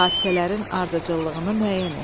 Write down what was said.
Hadisələrin ardıcıllığını müəyyən et.